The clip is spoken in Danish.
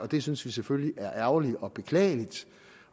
det synes vi selvfølgelig er ærgerligt og beklageligt